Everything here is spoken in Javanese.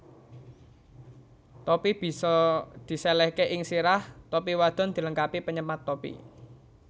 Topi bisa disèlèhke ing sirah Topi wadon dilengkapi penyemat topi